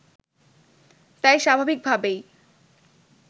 তাই স্বাভাবিকভাবেই